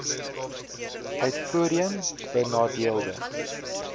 uit voorheen benadeelde